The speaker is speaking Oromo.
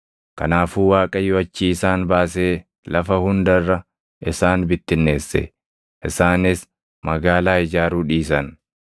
Kanaafuu Waaqayyo achii isaan baasee lafa hunda irra isaan bittinneesse; isaanis magaalaa ijaaruu dhiisan.